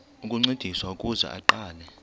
ukuncediswa ukuze aqale